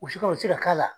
U si ka o si ka k'a la